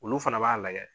Olu fana b'a lajɛ